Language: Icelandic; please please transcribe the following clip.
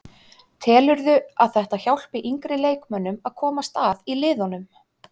Telurðu að þetta hjálpi yngri leikmönnum að komast að í liðunum?